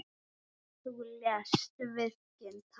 Þú lést verkin tala.